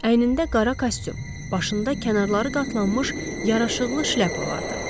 Əynində qara kostyum, başında kənarları qatlanmış yaraşıqlı şləpa vardı.